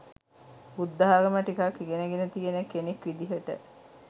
බුද්ධාගම ටිකක් ඉගෙන ගෙන තියෙන කෙනෙක් විදිහට